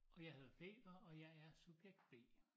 Og jeg hedder Peter og jeg er subjekt B